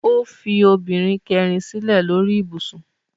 Ó fi obìnrin kẹrin sílẹ̀ lórí ibùsùn